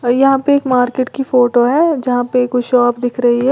और यहां पे एक मार्केट की फोटो है जहां पे कुछ शॉप दिख रही है।